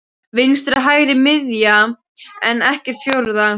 Vinstri hægri miðja enn ekkert fjórða?